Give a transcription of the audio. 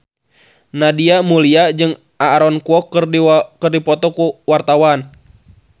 Nadia Mulya jeung Aaron Kwok keur dipoto ku wartawan